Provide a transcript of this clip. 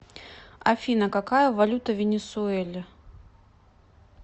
афина какая валюта в венесуэле